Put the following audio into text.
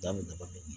Jaa min daba